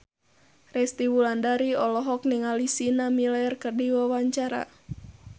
Resty Wulandari olohok ningali Sienna Miller keur diwawancara